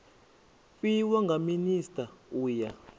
fhiwa nga minisita u ya